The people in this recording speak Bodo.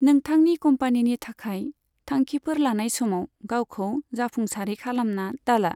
नोंथांनि कम्पानिनि थाखाय थांखिफोर लानाय समाव, गावखौ जाफुंसारै खालामना दाला।